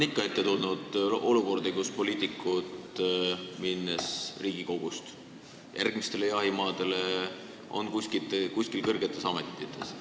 Ikka on ette tulnud olukordi, kus poliitikud, minnes Riigikogust järgmistele jahimaadele, on hiljem kuskil kõrgetes ametites.